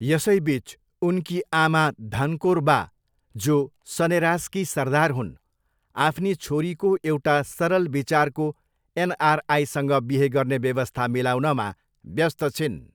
यसैबिच, उनकी आमा, धनकोर बा, जो सनेरासकी सरदार हुन्, आफ्नी छोरीको एउटा सरल विचारको एनआरआईसँग बिहे गर्ने व्यवस्था मिलाउनमा व्यस्त छिन्।